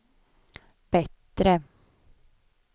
bättre